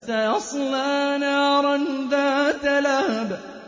سَيَصْلَىٰ نَارًا ذَاتَ لَهَبٍ